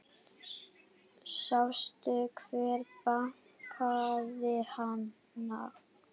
Sástu hver bakaði hana?